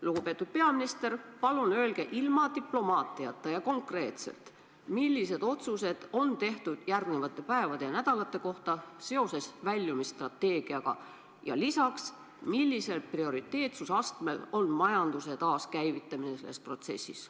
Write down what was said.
Lugupeetud peaminister, palun öelge ilma diplomaatiata ja konkreetselt, millised otsused on tehtud järgnevate päevade ja nädalate kohta seoses väljumisstrateegiaga, ja lisaks, millisel prioriteetsuse astmel on majanduse taaskäivitamine selles protsessis.